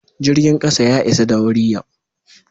Jirgin kasa ya isa da wuri yau.